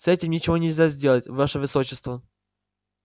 с этим ничего нельзя сделать ваше высочество